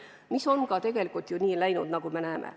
Ja nii on tegelikult ju ka läinud, nagu me näeme.